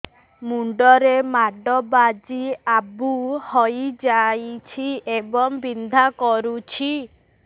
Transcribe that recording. ମୁଣ୍ଡ ରେ ମାଡ ବାଜି ଆବୁ ହଇଯାଇଛି ଏବଂ ବିନ୍ଧା କରୁଛି